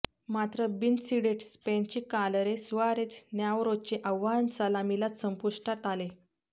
मात्र बिनसीडेड स्पेनची कालरे सुआरेझ नॅवरोचे आव्हान सलामीलाच संपुष्टात आले